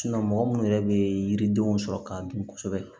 mɔgɔ minnu yɛrɛ bɛ yiridenw sɔrɔ k'a dun kosɛbɛ